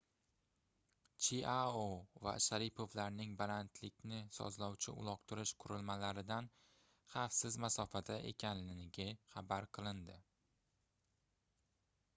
chiao va sharipovlarning balandlikni sozlovchi uloqtirish qurilmalaridan xavfsiz masofada ekanligi xabar qilindi